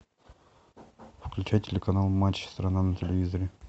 включай телеканал матч страна на телевизоре